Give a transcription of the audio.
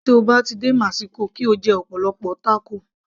Tí o bá ti dé mexico kí o jẹ ọ̀pọ̀lọpọ̀ tákò